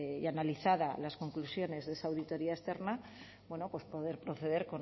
y analizadas las conclusiones de esa auditoría externa poder proceder